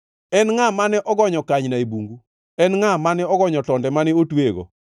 “En ngʼa mane ogonyo kanyna e bungu? En ngʼa mane ogonyo tonde mane otweyego?